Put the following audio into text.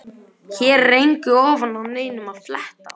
Hér er engu ofan af neinum að fletta.